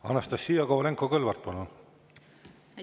Anastassia Kovalenko-Kõlvart, palun!